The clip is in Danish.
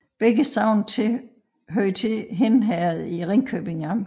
Begge sogne hørte til Hind Herred i Ringkøbing Amt